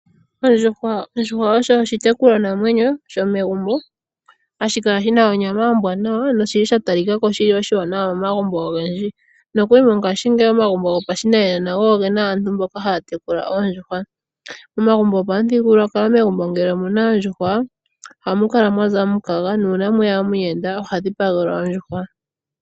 Ondjuhwa osho oshitekulwanamwenyo shomegumbo, hashi kala shi na onyama ombwanawa, noshili sha talika ko shi li oshiwanawa momagumbo ogendji. Nokuli mongashiingeyi omagumbo gopashinanena go oge na aantu mboka haya tekula oondjuhwa. Omagumbo gopamuthigululwakalo, megumbo ngele omu na oondjuhwa , ohamu kala mwaza omukaga, nu una mweya omuyenda oha dhipagelwa ondjuhwa.